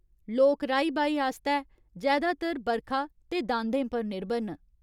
लोक राही बाही आस्तै जैदातर बरखा ते दांदें पर निर्भर न।